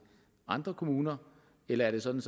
andre kommuner eller er det sådan